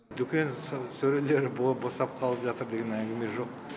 дүкен сөрелері босап қалып жатыр деген әңгіме жоқ